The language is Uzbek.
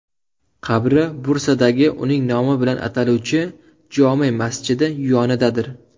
Qabri Bursadagi uning nomi bilan ataluvchi jome masjidi yonidadir.